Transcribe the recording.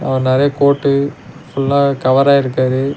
அ நறைய கோட்டு ஃபுல்லாவே கவர் ஆயிருக்காரு.